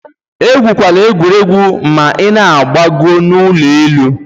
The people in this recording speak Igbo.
Egwukwala egwuregwu ma ị na-agbo n'ụlọ elu.